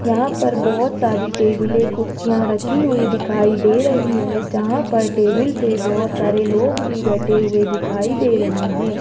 यहां पर बहोत सारी टेबल है कुर्सियां रखी हुई दिखाई दे रही है जहां पर टेबल पे बहोत सारे लोग भी बैठे हुए दिखाई दे रहे हैं।